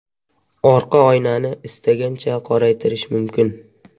Orqa oynani istagancha qoraytirish mumkin.